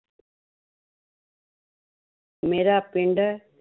ਮੇਰਾ ਪਿੰਡ